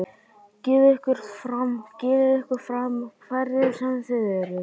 Gefið ykkur fram, gefið ykkur fram, hverjir sem þið eruð.